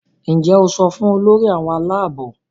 Njé o so fún Olórí àwọn Àlàabò?